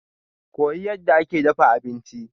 Koyi yadda ake dafa abinci.